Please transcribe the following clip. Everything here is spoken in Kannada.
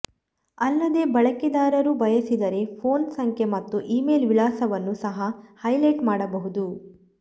ಅಲ್ಲದೆ ಬಳಕೆದಾರರು ಬಯಸಿದರೆ ಫೋನ್ ಸಂಖ್ಯೆ ಮತ್ತು ಇಮೇಲ್ ವಿಳಾಸವನ್ನು ಸಹ ಹೈಲೈಟ್ ಮಾಡಬಹುದು